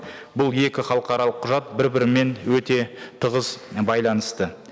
бұл екі халықаралық құжат бір бірімен өте тығыз байланысты